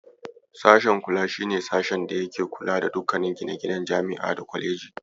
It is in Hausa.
Sashe Kula shi ne sashen da yake kula da dukkanin gine-ginen Jami'a ko Kwaleji.